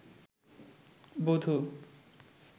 বধূ